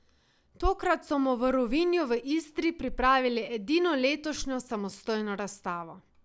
Tokrat so mu v Rovinju v Istri pripravili edino letošnjo samostojno razstavo.